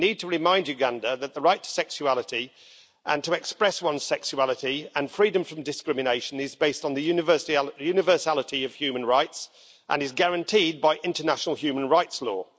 We need to remind Uganda that the right to sexuality and to express one's sexuality and freedom from discrimination is based on the universality of human rights and is guaranteed by international human rights law.